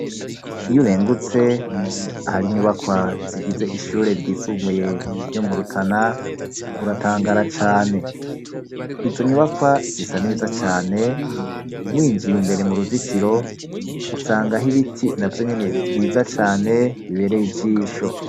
Iyo urengutse hari inyubakwa zigize ishure ryisumuye ryo murutana uratangara cane izo nyubakwa zisa neza cane winjiye imbere mu ruzitiro usanga aho ibiti na vyo nyene vyiza cane bibereye ijisho.